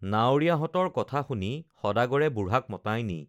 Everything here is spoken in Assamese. নাৱৰীয়াহঁতৰ কথা শুনি সদাগৰে বুঢ়াক মতাই নি